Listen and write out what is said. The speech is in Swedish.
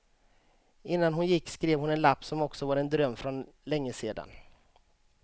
Innan hon gick skrev hon en lapp som också var en dröm från länge sedan.